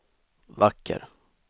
vacker